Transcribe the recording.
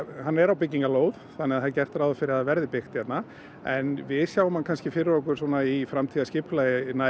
hann er á byggingarlóð þannig það er gert ráð fyrir að það verði byggt hérna en við sjáum hann kannski fyrir okkur í framtíðarskipulagi nær